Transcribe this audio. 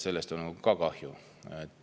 Sellest on ka kahju.